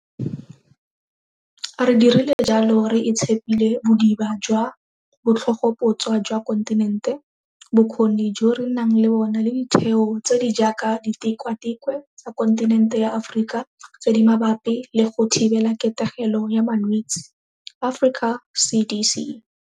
Re dirile jalo re itshepile bodiba jwa botlhogoputswa jwa kontinente, bokgoni jo re nang le bona le ditheo tse di jaaka Ditikwatikwe tsa Kontinente ya Aforika tse di Mabapi le go Thibelaketegelo ya Malwetse Africa CDC.